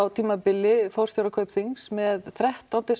tímabili forstjórar Kaupþings með þrettán til